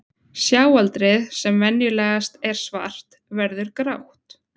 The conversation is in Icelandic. Sjáaldrið, sem venjulegast er svart, verður grátt.